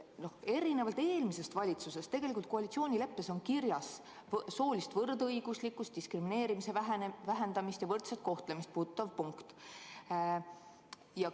Erinevalt eelmise valitsuse koalitsioonileppest on teie omas tegelikult kirjas soolist võrdõiguslikkust, diskrimineerimise vähendamist ja võrdset kohtlemist puudutav punkt.